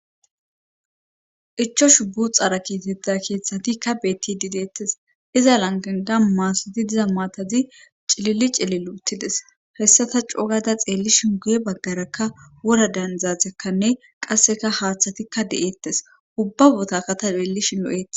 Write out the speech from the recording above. ichashu buxaara kexetta keeththatikka beettidi deettes iza langanda maasoti diza maatazi cililli cilil uttides hessata cogada xeellishin guye baggarakka wora danzaatekkanne qasseka haaththatikka de'eettes ubba botaka ta deellishin lo'etes